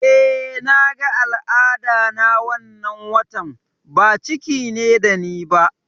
Eh, naga al'ada na wannan watan, ba ciki ne da ni ba